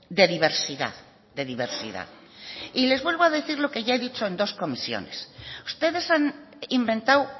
de diversidad de diversidad y les vuelvo a decir lo que ya he dicho en dos comisiones ustedes han inventado